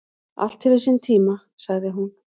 """Allt hefur sinn tíma, sagði hún."""